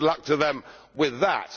Well good luck to them with that.